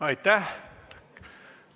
Aitäh!